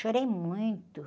Chorei muito.